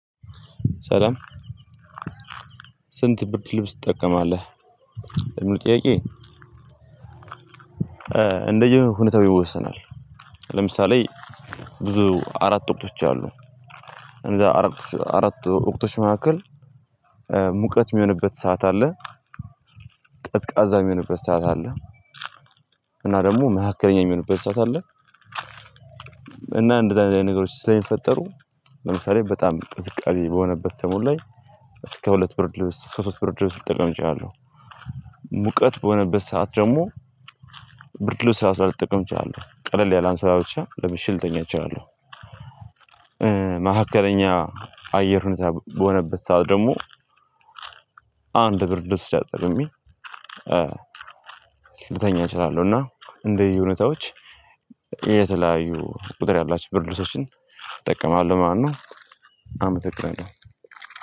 ሰላም ስንት ብርድልብስ ትጠቀማለህ? ለሚለው ጥያቄ እንደየሁኔታው ይወሰናል። ለምሳሌ ብዙ አራት ወቅቶች አሉ። እነዛ አራት አራት ወቅቶች መካከል ሙቀት የሚሆንበት ሰዓት አለ ቀዝቃዛ የሚሆንበት ሰዓት አለ እና ደግሞ መካከለኛ የሚሆንበት ሰዓት አለ እና እንደዚህ አይነት ነገሮች ስለሚፈጠሩ ለምሳሌ በጣም ቅዝቃዜ በሆነበት ሰሞን ላይ እስከ ሁለት ብርድ ልብስ፤ እስከ ሶስት ብርድ ልብስ ልጠቀም እችላለሁ። ሙቀት በሆነበት ሰዓት ደግሞ ብርድ ልብስ ራሱ ላልጠቀም እችላለሁ። ቀለል ያለ አንሶላ ብቻ ለብሼ ልተኛ እችላለሁ። መካከለኛ አየር ሁኔታ በሆነበት ሰዓት ደግሞ አንድ ብርድ ልብስ ተጠቅሜ ልተኛ እችላለሁ እና እንደየሁኔታዎች የተለያዩ ቁጥር ያላቸው ብርድ ልብሶችን እጠቀማለሁ ማለት ነው። አመሰግናለሁ።